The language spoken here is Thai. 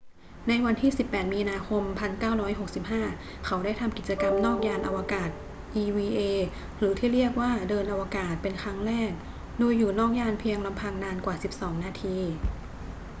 วันที่ 18 มีนาคม 1965 เขาได้ทำกิจกรรมนอกยานอวกาศ eva หรือที่เรียกว่า เดินอวกาศ เป็นครั้งแรก โดยอยู่นอกยานเพียงลำพังนานกว่า 12 นาที